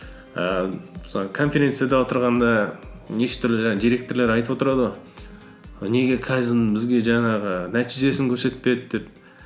ііі мысалы конференцияда отырғанда неше түрлі жаңағы директорлар айтып отырады ғой неге кайдзен бізге жаңағы нәтижесін көрсетпеді деп